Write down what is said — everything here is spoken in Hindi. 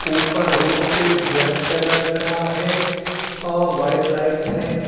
ऊपर रूफ पे ब्लैक कलर का है और व्हाइट लाइट्स है।